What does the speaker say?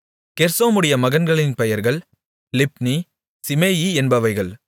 கெர்சோமுடைய மகன்களின் பெயர்கள் லிப்னி சீமேயி என்பவைகள்